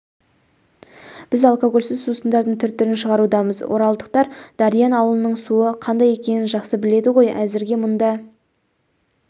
біз алкогольсіз сусындардың түр-түрін шығарудамыз оралдықтар дариян ауылының суы қандай екенін жақсы біледі ғой әзірге мұнда